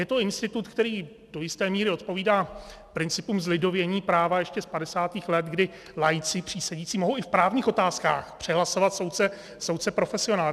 Je to institut, který do jisté míry odpovídá principům zlidovění práva ještě z 50. let, kdy laici-přísedící mohou i v právních otázkách přehlasovat soudce profesionála.